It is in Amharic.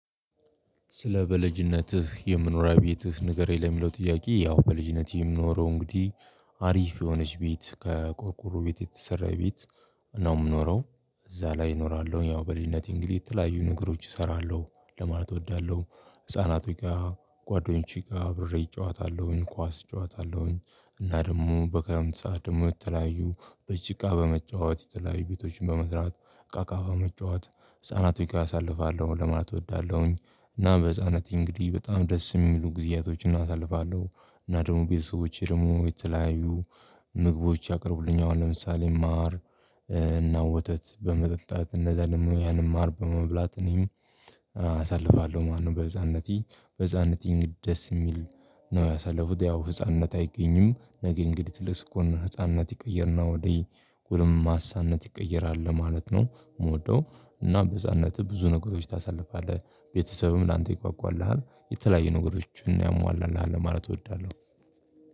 ስለ በልጅነትህ የመኖሪያ ቤትህ ንገረኝ ለሚለው ጥያቄ ያው በልጅነቴ የምኖረው እንግዲህ አሪፍ የሆነች ቤት ከቆርቆሮ ቤት የተሰራ ቤት ነው የምኖረው እዛ ላይ እኖራለሁ። ያው በልጅነቴ እንግዲህ የተለያዩ ነገሮች እሰራለሁ ለማለት እወዳለሁ ህፃናቱ ጋር ጓደኞቼ ጋር አብሬ እጫወታለሁኝ ኳስ እጫወታለሁኝ። እና ደግሞ በከረምት ሰዓት ደግሞ የተለያዩ በጭቃ በመጫወት የተለያዩ ቤቶችን በመስራት እቃ እቃ በመጫወት ህፃናቶች ጋር አሳልፋለሁ ለማለት እወዳለሁኝ። እና በህፃንነቴ እንግዲህ በጣም ደስ የሚሉ ጊዜያቶችን አሳልፋለሁ። እና ደግሞ ቤተሰቦቼ ደግሞ የተለያዩ ምግቦች ያቀረቡልኛል። አሁን ለምሳሌ ማር እና ወተት በመጠጣት እንደዛ ደግሞ ያንን ማር በመብላት እኔም አሳልፋለሁ ማለት ነው። በህፃንነቴ በህፃንነቴም ደስ የሚል ነው ያሳለፉት ያው ህፃንነት አይገኝም ነገ እንግዲህ ትልቅ ስኮን ህፃንነት ይቀየርና ወደ ጎልማሳነት ይቀየራል ለማለት ነው የምወደው። እና በህፃንነትህ ብዙ ነገሮች ታሳልፋለህ ቤተሰብም ላንተ ይጓጓልሃል የተለያዩ ነገሮችን ያሟላልሃል ለማለት እወዳለሁ።